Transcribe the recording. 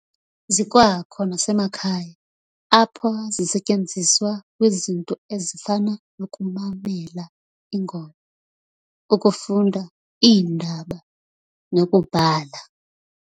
Zikwakho nasemakhaya, apho zisetyenziswa kwizinto ezifana nokumamela ingoma, ukufunda iindaba, nokubhala.